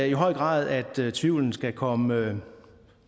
i høj grad at tvivlen skal komme